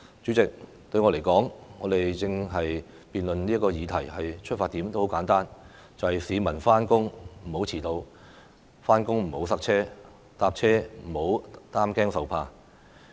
主席，對我來說，我們正在辯論的議題的出發點十分簡單，便是讓市民上班不遲到、上班時段不塞車、乘車時不用擔驚受怕。